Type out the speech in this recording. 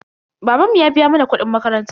Babanmu ya biya mana kuɗin makaranta.